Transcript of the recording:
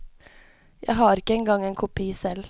Jeg har ikke engang en kopi selv.